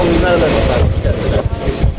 Məclisə xoş gəlmisiniz.